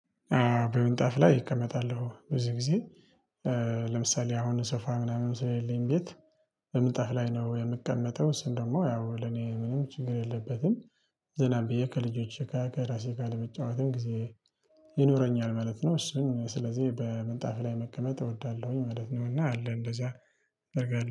በምንጣፍ ላይ ይቀመጣሉ ብዙ ጊዜ ለምሳሌ አሁን ሶፋ ምናምን ስለሌለኝ ቤት በምንጣፍ ላይ ነው የምቀመጠው እሱም ደግሞ ያው ለኔ ምንም ችግር የለበትም። ዘና ብዬ የከልጆች ጋር ከእራሴ ጋር ለመጫወትም ጊዜ ይኖረኛል ማለት ነው። እሱን ስለዚህ በምንጣፍ ላይ መቀመጥ እወዳለሁኝ ማለት ነው። እና አለ እንደዚያ እደርጋለሁ